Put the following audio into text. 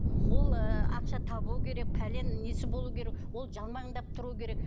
ол ы ақша табу керек пәлен несі болуы керек ол жалмаңдап тұруы керек